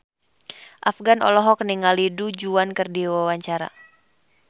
Afgan olohok ningali Du Juan keur diwawancara